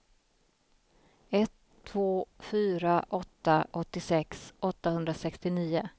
ett två fyra åtta åttiosex åttahundrasextionio